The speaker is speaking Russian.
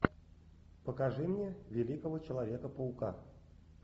покажи мне великого человека паука